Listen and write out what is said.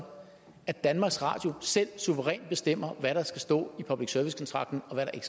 at danmarks radio selv suverænt bestemmer hvad der skal stå i public service kontrakten og hvad der